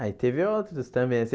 Ah, e teve outros também assim.